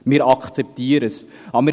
Wir akzeptieren es.